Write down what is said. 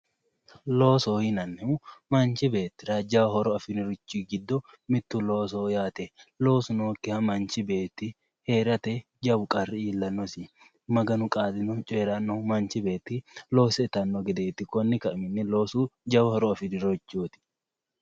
Loosoho yinnannihu manchi beettira jawa horo afirinorichi giddo mittu loosoho yaate, loosu nookkiha mannichi beetti heerate jawu qarri iillanosi maganu qaalino coyranohu manchi beetti loose ittano gedeti konni kainohunni loosu jawa horo afirinorichoti.